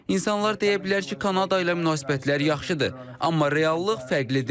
İnsanlar deyə bilər ki, Kanada ilə münasibətlər yaxşıdır, amma reallıq fərqlidir.